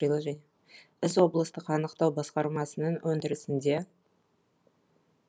іс облыстық анықтау басқармасының өндірісінде